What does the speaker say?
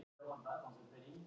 Aleinn á skólalóðinni.